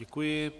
Děkuji.